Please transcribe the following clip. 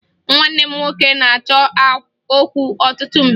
Nwanne m nwoke na-achọ okwu ọtụtụ mgbe